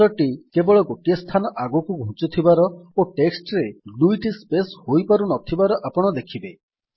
cursor ଟି କେବଳ ଗୋଟିଏ ସ୍ଥାନ ଆଗକୁ ଘୁଞ୍ଚୁ ଥିବାର ଓ ଟେକ୍ସଟ ରେ ଦୁଇଟି ସ୍ପେସ୍ ହୋଇପାରୁ ନଥିବାର ଆପଣ ଦେଖିବେ